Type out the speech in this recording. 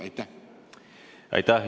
Aitäh!